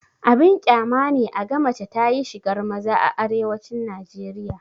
Abin ƙyama ne a ga mace ta yi shigar maza a arewacin najeriya